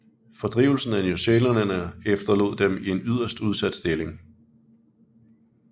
Fordrivelsen af newzealænderne efterlod dem i en yderst udsat stilling